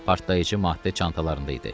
Partlayıcı maddə çantalarında idi.